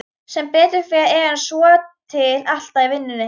Sem betur fer er hann svotil alltaf í vinnunni.